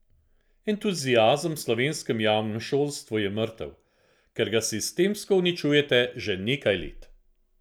Entuziazem v slovenskem javnem šolstvu je mrtev, ker ga sistemsko uničujete že nekaj let!